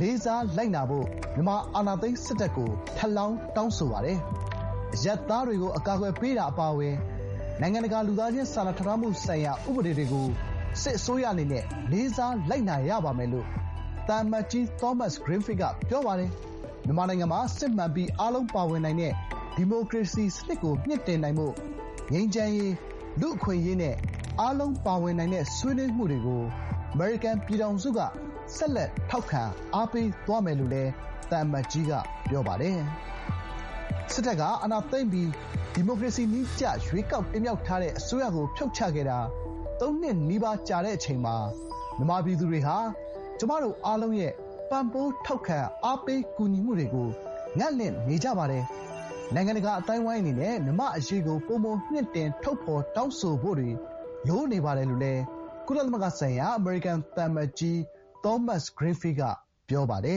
လေးစားလိုက်နာဖို့ မြန်မာ အာဏာသိမ်း စစ်တပ်ကို ထပ်လောင်း တောင်းဆိုလိုက်ပါတယ်။ အရပ်သားတွေကို အကာအကွယ်ပေးခြင်းအပါအဝင် နိုင်ငံတကာ လူသားချင်းစာနာထောက်ထားမှုဆိုင်ရာ ဥပဒေတွေကို စစ်အစိုးရအနေနဲ့ လေးစားလိုက်နာရပါမယ်။” လို့ သံအမတ်ကြီး သောမတ်စ်-ဂရင်းဖီလ်က ပြောပါတယ်။ “မြန်မာနိုင်ငံမှာ စစ်မှန်ပြီး အားလုံးပါဝင်နိုင်တဲ့ ဒီမိုကရေစီ စနစ်ကို မြှင့်တင်နိုင်ဖို့ ငြိမ်းချမ်းရေး၊ လူ့အခွင့်အရေးနဲ့ အားလုံးပါဝင်နိုင်တဲ့ ဆွေးနွေးမှုတွေကို အမေရိကန် ပြည်ထောင်စုက ဆက်လက် ထောက်ခံ အားပေးသွားမယ်” လို့လည်း သံအမတ်ကြီးက ပြောပါတယ်။ “စစ်တပ်က အာဏာသိမ်းပြီး ဒီမိုကရေစီနည်းကျ ရွေးကောက်တင်မြှောက်ထားတဲ့ အစိုးရကို ဖြတ်ချခဲ့တာ သုံးနှစ်နီးပါးကြာတဲ့ အချိန်မှာ မြန်မာပြည်သူတွေဟာ ကျွန်မတို့အားလုံးရဲ့ ပံ့ပိုး ထောက်ခံ အားပေး ကူညီမှုတွေကို ငံ့လင်နေကြပါတယ်။ နိုင်ငံတကာ အသိုက်အဝန်းအနေနဲ့ မြန်မာ့အရေကို ပိုမို မြှင့်တင်ဦ ထုတ်ဖော် တောင်းဆိုဖို့တွေ လိုနေပါတယ်” လို့ ကုလသမဂ္ဂဆိုင်ရာ အမေရိကန် သံအမတ်ကြီး သောမတ်စ်-ဂရင်းဖီးလ်က ပြောပါတယ